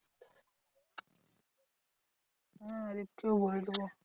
হ্যাঁ হরিফ কেও বলে দেব।